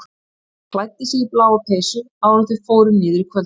Hann klæddi sig í bláa peysu áður en þau fóru niður í kvöldmat.